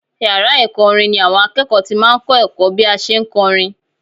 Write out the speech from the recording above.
Yàrá ẹ̀kọ́ orin ni àwọn akẹ́kọ̀ọ́ ti máa ń kọ́ ẹ̀kọ́ bí a ṣe ń kọrin